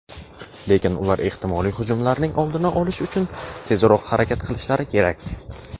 lekin ular ehtimoliy hujumlarning oldini olish uchun tezroq harakat qilishlari kerak.